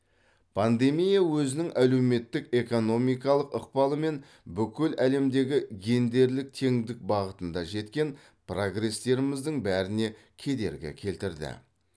пандемия өзінің әлеуметтік экономикалық ықпалымен бүкіл әлемдегі гендерлік теңдік бағытында жеткен прогрестеріміздің бәріне кедергі келтірді